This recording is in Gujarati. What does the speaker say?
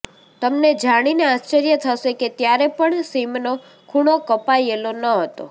તમને જાણીને આશ્ચર્ય થશે કે ત્યારે પણ સિમનો ખૂણો કપાયેલો ન હતો